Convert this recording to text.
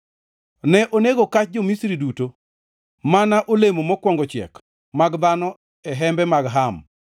Ne onego kach jo-Misri duto, mana olemo mokwongo chiek mag dhano e hembe mag Ham.